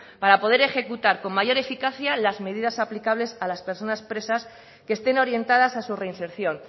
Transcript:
para poder ejecutar con mayor eficacia las medidas aplicables a las personas presas que estén orientadas a su reinserción